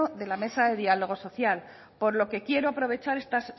de la mesa de diálogo social por lo que quiero aprovechar esta